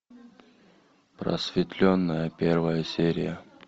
просветленная первая серия